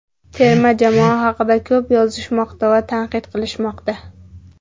Terma jamoa haqida ko‘p yozishmoqda va tanqid qilishmoqda.